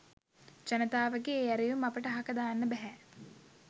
ජනතාවගේ ඒ ඇරයුම් අපට අහක දාන්න බැහැ.